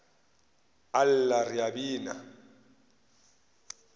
a lla re a bina